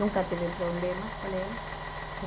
Nunca tive problema com ela.